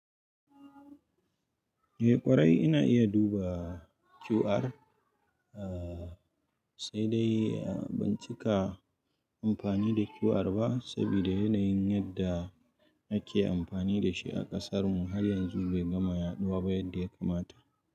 Eh ƙwarai ina iya duba QR, aaaa sai dai ban cika amfani da QR ba, saboda yanayin yadda ake amfani da shi a ƙasarmu har yanzu bai gama yaɗuwa ba yadda ya kamata.